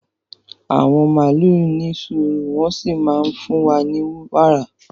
Àwọn màlúù ní sùúrù wọ́n sì máa ń fún wa ní wàrà